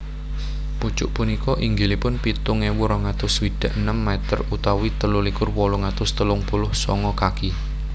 Pucuk punika inggilipun pitung ewu rong atus swidak enem meter utawi telu likur wolung atus telung puluh sanga kaki